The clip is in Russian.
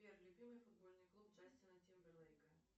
сбер любимый футбольный клуб джастина тимберлейка